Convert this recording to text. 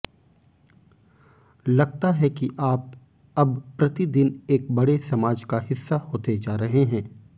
लगता है कि आप अब प्रतिदिन एक बड़े समाज का हिस्सा होते जा रहे हैं